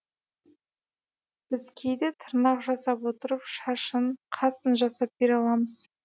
біз кейде тырнақ жасап отырып шашын қасын жасап бере аламыз